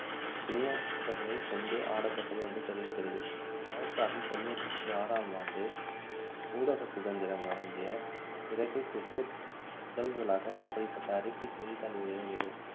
கினியச்களைக்கொண்டு ஆடப்பட்டது என்று தெரிவிக்கிறது ஆயிரத்து அறுநூற்று தொண்ணூற்று ஆறாம் ஆண்டு ஊடக சுதந்திரம் வழங்கிய பிறகு cricket முதல் முதலாக இப்படிப்பட்ட அறிக்கை செய்தித்தாள்களில் வெளிவந்தது